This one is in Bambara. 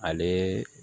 Ale